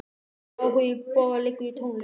Áhugi Boga liggur í tónlist.